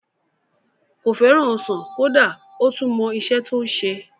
Kò fẹ́ràn ọsàn kódà ó tún mọ isẹ́ tí ó ń se